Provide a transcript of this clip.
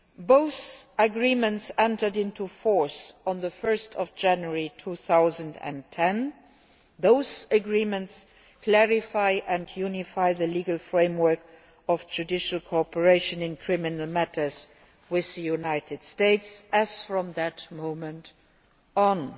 Both agreements entered into force on 1 January 2010, and both clarify and unify the legal framework of judicial cooperation in criminal matters with the United States from that moment on.